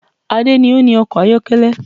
Ade ni o ni ọkọ̀ ayọ́kẹ́lẹ́